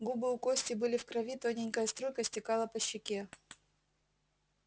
губы у кости были в крови тоненькая струйка стекала по щеке